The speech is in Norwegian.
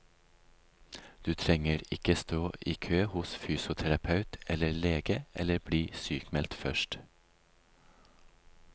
Du trenger ikke stå i kø hos fysioterapeut eller lege eller bli sykmeldt først.